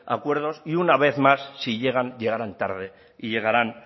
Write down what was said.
acuerdos y una vez más si llegan llegarán tarde y llegarán